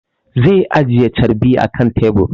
Zai ajiye carbi akan tebur